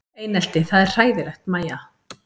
Einelti það er hræðilegt Mæja?